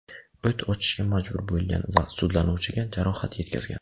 U o‘t ochishga majbur bo‘lgan va sudlanuvchiga jarohat yetkazgan.